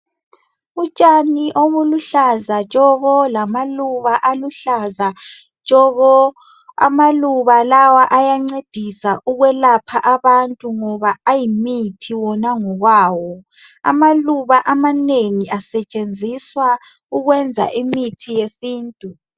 Utshani obuhlaza tshoko lamaluba aluhlaza tshoko ,amaluba lawa ayancedisa ukwelapha abantu ngoba ayimithi wona ngokwawo, amaluba amanengi asetshenziswa ukwenza imithi yesintu.